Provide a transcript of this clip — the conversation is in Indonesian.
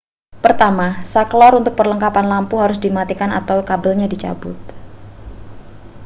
pertama sakelar untuk perlengkapan lampu harus dimatikan atau kabelnya dicabut